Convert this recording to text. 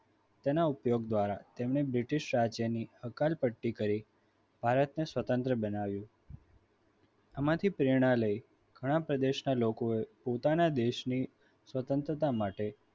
તેના ઉપયોગ દ્વારા એમને british રાજ્યની હકાલ પટ્ટી કરી ભારતને સ્વતંત્ર બનાવ્યું આમાંથી પ્રેરણા લઈ ઘણા પ્રદેશના લોકોએ પોતાના દેશની સ્વતંત્રતા માટે